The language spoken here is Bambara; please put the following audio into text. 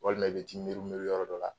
Walima i be t'i meru-meru yɔrɔ dɔ la